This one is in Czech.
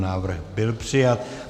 Návrh byl přijat.